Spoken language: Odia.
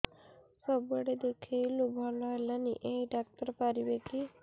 ସବୁଆଡେ ଦେଖେଇଲୁ ଭଲ ହେଲାନି ଏଇ ଡ଼ାକ୍ତର ପାରିବେ କି